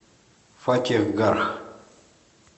фатехгарх